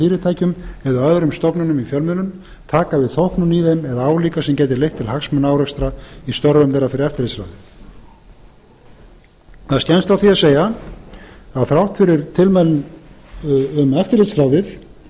fyrirtækjum eða öðrum stofnunum í fjölmiðlun taka við þóknun í þeim eða álíka sem gæti leitt til hagsmunaárekstra í störfum þeirra fyrir eftirlitsráðið það er skemmt frá því að segja að þrátt fyrir